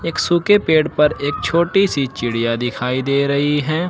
एक सूखे पेड़ पर एक छोटी सी चिड़िया दिखाई दे रही है।